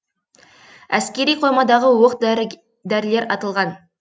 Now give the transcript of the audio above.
әскери қоймадағы оқ дәрілер атылған